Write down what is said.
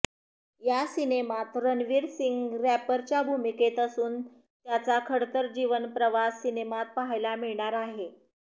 या सिनेमात रणवीर सिंग रॅपरच्या भूमिकेत असून त्याचा खडतर जीवनप्रवास सिनेमात पाहायला मिळणार आहे